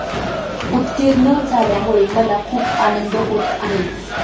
उत्तीर्ण झाल्यामुळे मला खूप आनंद होत आहे.